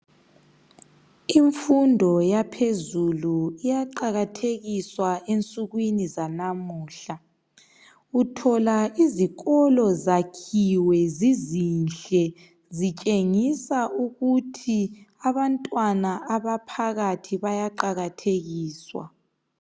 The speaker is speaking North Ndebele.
Imfundo yaphezulu iyaqakathekiswa ensukwini zanamuhla. Uthola izikolo ziyakhiwe zizinhle zitshengisa ukuthi abantwana abaphakathi bayaqakathekiswa